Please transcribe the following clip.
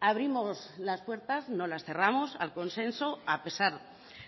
abrimos las puertas no las cerramos al consenso a pesar